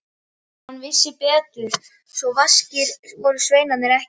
Hann vissi betur, svo vaskir voru sveinarnir ekki.